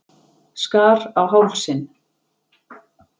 Skar á hálsinn.